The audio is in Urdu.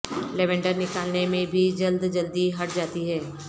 لیوینڈر نکالنے میں بھی جلد جلدی ہٹ جاتی ہے